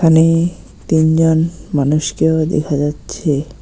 এখানে তিনজন মানুষকেও দেখা যাচ্ছে।